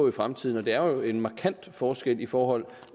i fremtiden og det er jo en markant forskel i forhold